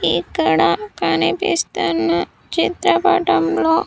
ఇక్కడ కనిపిస్తున్న చిత్రపటంలో.